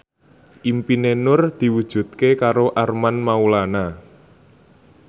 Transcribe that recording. impine Nur diwujudke karo Armand Maulana